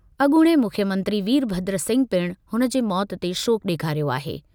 अॻूणे मुख्यमंत्री वीरभद्र सिंह पिणु हुन जे मौत ते शोक ॾेखारियो आहे।